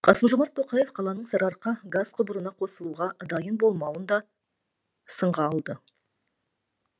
қасым жомарт тоқаев қаланың сарыарқа газ құбырына қосылуға дайын болмауын да сынға алды